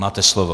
Máte slovo.